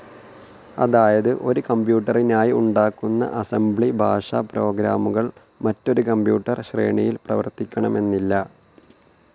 അതായത് ഒരു കംപ്യൂട്ടറിനായി ഉണ്ടാക്കുന്ന അസംബ്ലി ഭാഷ പ്രോഗ്രാമുകൾ മറ്റൊരു കമ്പ്യൂട്ടർ ശ്രേണിയിൽ പ്രവർത്തിക്കണമെന്നില്ല.